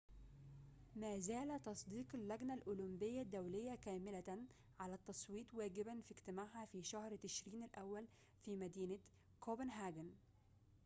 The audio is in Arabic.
مازال تصديق اللجنة الأولمبية الدولية كاملةً على التصويت واجباً في اجتماعها في شهر تشرين الأول في مدينة كوبنهاجن